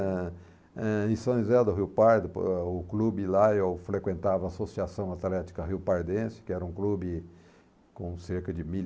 Ah, eh, em São José do Rio Pardo, o clube lá, eu frequentava a Associação Atlética Rio Pardense, que era um clube com cerca de mil